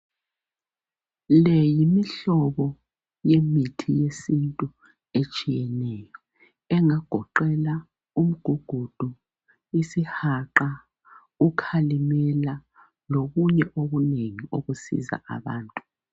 Leyi yimihlobo yemithi yesithu etshiyeneyo. engagoqela umgugudu, isihaqa, ukalimela lokunye okunengi okusiza abantu.